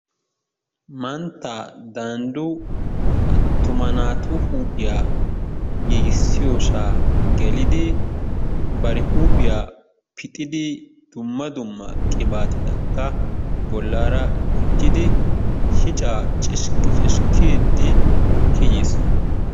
Manttaa dandu atuma natu huphiyaa gigisiyosa gelliddi bar huphiyaa pixiddi dumma dumma qibatettakka bolara gujjiddi shicca cishiki chishikidi kiyiss.